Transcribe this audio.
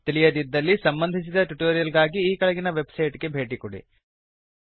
ತಿಳಿಯದಿದ್ದಲ್ಲಿ ಸಂಬಂಧಿಸಿದ ಟ್ಯುಟೋರಿಯಲ್ ಗಾಗಿ ಈ ಕೆಳಗಿನ ವೆಬ್ಸೈಟ್ ಗೆ ಭೇಟಿ ಕೊಡಿ